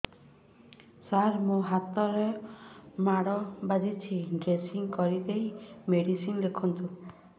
ସାର ମୋ ହାତରେ ମାଡ଼ ବାଜିଛି ଡ୍ରେସିଂ କରିଦେଇ ମେଡିସିନ ଲେଖନ୍ତୁ